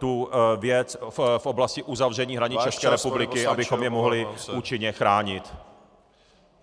tu věc v oblasti uzavření hranic České republiky , abychom je mohli účinně chránit.